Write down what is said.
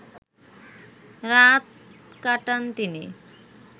রাত কাটান তিনি